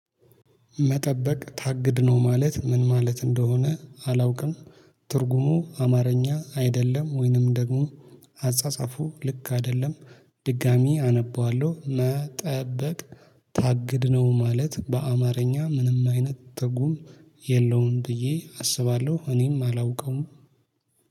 መጠበቅ ታግድ ነው ማለት ምን ማለት እንደሆነ አላውቅም። ትርጉሙ አማረኛ አይደለም ወይንም ደግሞ አጻጻፉ ልክ አደለም። ድጋሚ አነበዋለው። መጠበቅ ታግድ ነው ማለት በአማረኛ ምንም አይነት ትርጉም የለውም ብዬ አስባለው። እኔም አላውቀውም